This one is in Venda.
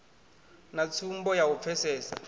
na tsumbo ya u pfesesa